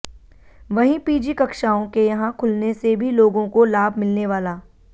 वहीं पीजी कक्षाओं के यहां खुलने से भी लोगों को लाभ मिलने वाला